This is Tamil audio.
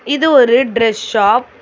இது ஒரு ட்ரெஸ் ஷாப் .